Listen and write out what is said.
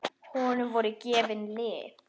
Honum voru gefin lyf.